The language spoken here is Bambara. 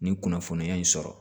Nin kunnafoniya in sɔrɔ